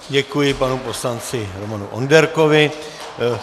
Děkuji panu poslanci Romanu Onderkovi.